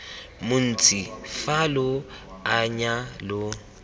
montsi fa lo anya lo